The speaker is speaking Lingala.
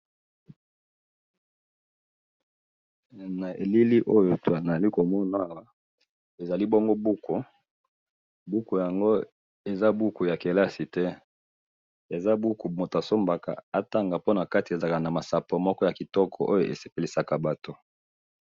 Na elili nazali komoma awa ezali bongo buku, buku yango eza buku ya kelasi teeza buku oyo mutu asombaka po atanga masapo oyo ezalaka na kati, ya kitoko oyo esepelisaka batu.